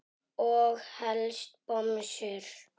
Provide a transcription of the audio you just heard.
Og helst bomsur.